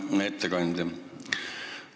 Hea ettekandja!